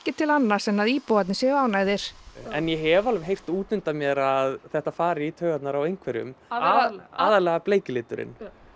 til annars en að íbúarnir séu ánægðir en ég hef alveg heyrt út undan mér að þetta fari í taugarnar á einhverjum aðallega bleiki liturinn